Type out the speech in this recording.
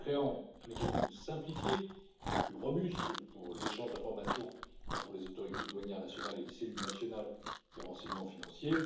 en créant un mécanisme simplifié et plus robuste pour l'échange d'informations entre les autorités douanières nationales et les cellules nationales de renseignement financier